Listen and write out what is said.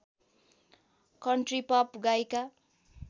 country pop गायिका